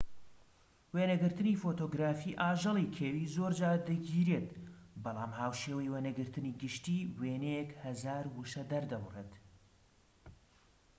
وێنەگرتنی فۆتۆگرافی ئاژەڵی کێوی زۆرجار دەگیرێت بەڵام هاوشێوەی وێنەگرتنی گشتی وێنەیەک هەزار وشە دەردەبڕێت